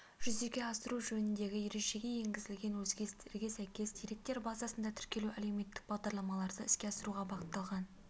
жүзеге асыру жөннідегі ережеге енгізілген өзгерістерге сәйкес деректер базасында тіркелу әлеуметтік бағдарламаларды іске асыруға бағытталған